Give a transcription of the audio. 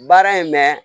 Baara in mɛ